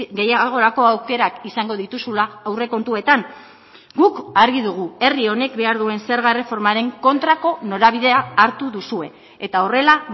gehiagorako aukerak izango dituzula aurrekontuetan guk argi dugu herri honek behar duen zerga erreformaren kontrako norabidea hartu duzue eta horrela